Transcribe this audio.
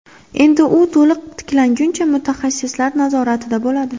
Endi u to‘liq tiklanguncha mutaxassislar nazoratida bo‘ladi.